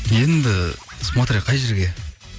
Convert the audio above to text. енді смотря қай жерге